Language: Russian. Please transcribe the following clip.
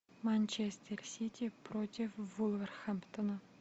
манчестер сити против вулверхэмптона